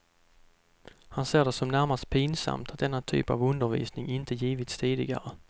Han ser det som närmast pinsamt att denna typ av undervisning inte givits tidigare.